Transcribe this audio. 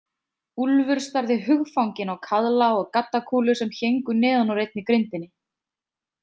Úlfur starði hugfanginn á kaðla og gaddakúlur sem héngu neðan úr einni grindinni.